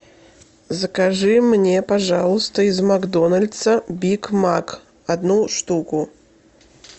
закажи мне пожалуйста из макдональдса биг мак одну штуку